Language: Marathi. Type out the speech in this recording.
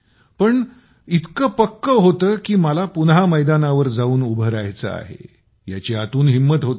पण इतक होत कि मला पुन्हा मैदानावर जाऊन उभ राहायचं आहे याची आतून हिम्मत होती